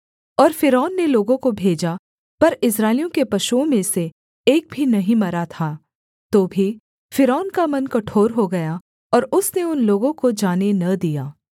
और फ़िरौन ने लोगों को भेजा पर इस्राएलियों के पशुओं में से एक भी नहीं मरा था तो भी फ़िरौन का मन कठोर हो गया और उसने उन लोगों को जाने न दिया